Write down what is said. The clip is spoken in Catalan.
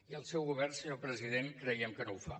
i el seu govern senyor president creiem que no ho fa